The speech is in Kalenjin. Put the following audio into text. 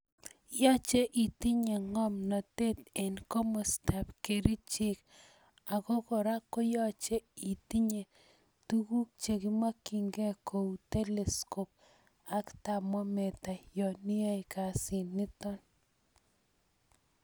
Yoche itinye ng'omnotet en komostab kerichek ak ko kora yoche itinye tukuk chekimokying'e kou telescope ak thermometer yoon iyoe kasiniton.